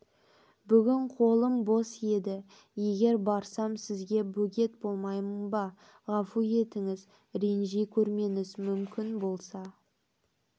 бүгін қолым бос еді егер барсам сізге бөгет болмаймын ба ғафу етіңіз ренжи көрмеңіз мүмкін болса